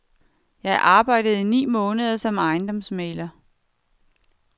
Jeg arbejdede i ni måneder som ejendomsmægler.